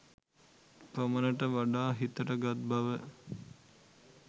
පමණට වඩා හිතට ගත් බව